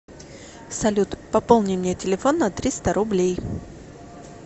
салют пополни мне телефон на триста рублей